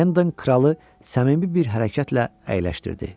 Hendon kralı səmimi bir hərəkətlə əyləşdirdi.